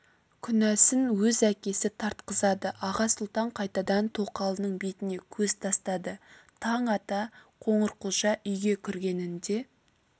күнәсін өз әкесі тартқызады аға сұлтан қайтадан тоқалының бетіне көз тастады таң ата қоңырқұлжа үйге кіргенінде